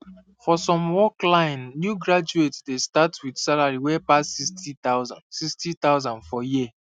for some work line new graduates dey start with salary wey pass 60000 60000 for year